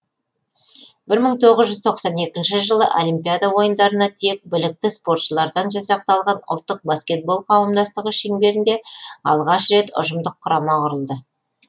бір мың тоғыз жүз тоқсан екінші жылы олимпиада ойындарына тек білікті спортшылардан жасақталған ұлттық баскетбол қауымдастығы шеңберінде алғаш рет ұжымдық құрама құрылды